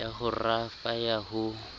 ya ho rafa ya ho